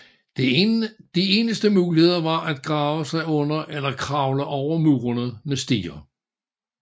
De eneste muligheder var at grave sig under eller kravle over murene med stiger